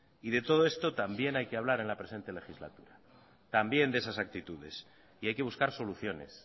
y de todo esto también hay que hablar en la presente legislatura también de esas actitudes y hay que buscar soluciones